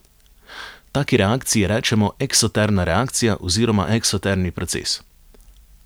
Taki reakciji rečemo eksotermna reakcija oziroma eksotermni proces.